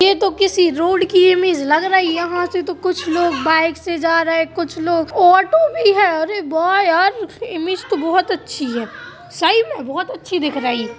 तो किसी रोड की इमेज लग रही है तो कूच लोग बाइक से जा रहे है कूच लोग ऑटो बी है अरे बा यार इमेज तलों बहोत अच्छी है सही मे बहोत अछि दिख रही है।